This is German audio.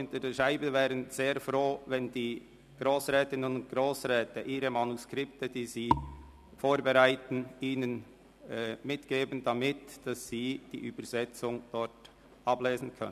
Die Übersetzenden wären froh darüber, wenn die Grossrätinnen und Grossräte ihnen die vorbereiteten Manuskripte abgeben könnten, damit sie für die Dolmetschung darauf ablesen können.